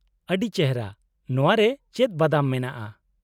- ᱟᱰᱤ ᱪᱮᱨᱦᱟ ! ᱱᱚᱶᱟᱨᱮ ᱪᱮᱫ ᱵᱟᱫᱟᱢ ᱢᱮᱱᱟᱜᱼᱟ ?